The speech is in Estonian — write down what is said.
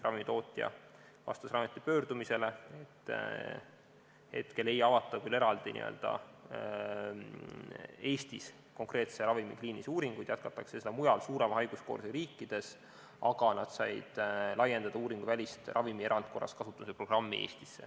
Ravimitootja vastas ameti pöördumisele, et hetkel küll ei avata Eestis eraldi konkreetse ravimi kliinilisi uuringuid, seda jätkatakse mujal, suurema haiguskoormusega riikides, aga nad said siiski laiendada uuringuvälist ravimi erandkorras kasutamise programmi Eestisse.